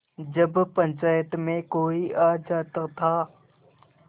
जब पंचायत में कोई आ जाता था